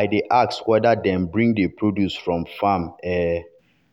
i dey ask whether dem bring the produce from farm um